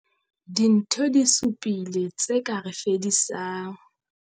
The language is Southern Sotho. Dintho di 7 tse ka re fedisang.